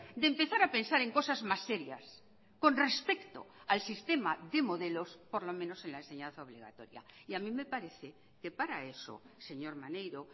de empezar a pensar en cosas más serias con respecto al sistema de modelos por lo menos en la enseñanza obligatoria y a mí me parece que para eso señor maneiro